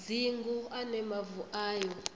dzingu a ne mavu ayo